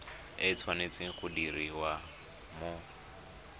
e tshwanetse go diriwa mo